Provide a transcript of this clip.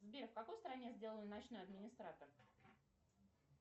сбер в какой стране сделан ночной администратор